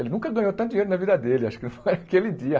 Ele nunca ganhou tanto dinheiro na vida dele, acho que foi aquele dia.